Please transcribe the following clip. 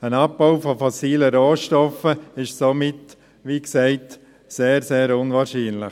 Ein Abbau von fossilen Rohstoffen ist somit, wie gesagt, sehr, sehr unwahrscheinlich.